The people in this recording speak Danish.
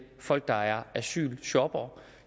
folk der er asylshoppere